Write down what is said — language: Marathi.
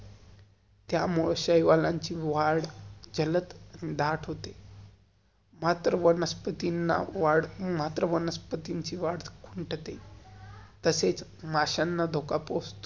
त्यामुळे शाहिवाल्य्न्ची वाढ जल्द डाट होते. मात्र वनस्पतिन्ना वाड~ मात्र वनास्पतिची वाड खुंटते. तसेच माश्यांना धोका पोचतो.